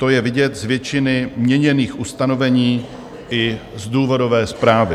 To je vidět z většiny měněných ustanovení i z důvodové zprávy.